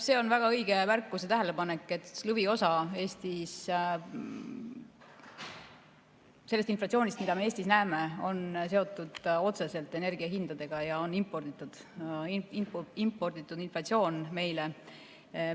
See on väga õige märkus ja tähelepanek, et lõviosa sellest inflatsioonist, mida me Eestis näeme, on seotud otseselt energiahindadega ja on imporditud inflatsioon meile.